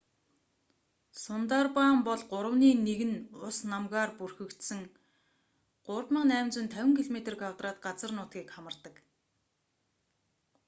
сундарбан бол гуравны нэг нь ус/намгаар бүрхэгдсэн 3,850 km² газар нутгийг хамардаг